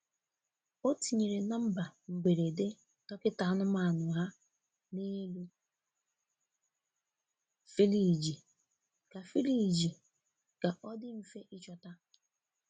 O tinyere nọmba mgberede dọkịta anụmanụ ha n’elu firiji ka firiji ka ọ dị mfe ịchọta.